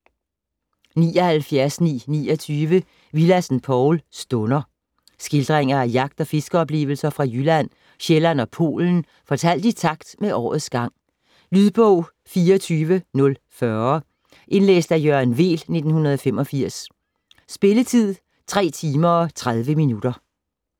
79.929 Willadsen, Povl: Stunder Skildringer af jagt- og fiskeoplevelser fra Jylland, Sjælland og Polen fortalt i takt med årets gang. Lydbog 24040 Indlæst af Jørgen Weel, 1985. Spilletid: 3 timer, 30 minutter.